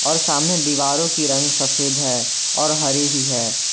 और सामने दीवारों की रंग सफेद है और हरी भी है।